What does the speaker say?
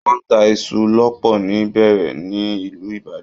Wọ́n ń tá iṣu lọ́pọ̀ ni Bẹẹrẹ ní ìlú Ibadan